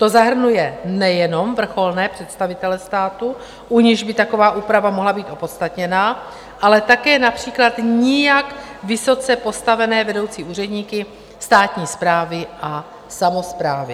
To zahrnuje nejenom vrcholné představitele státu, u nichž by taková úprava mohla být opodstatněná, ale také například nijak vysoce postavené vedoucí úředníky státní správy a samosprávy.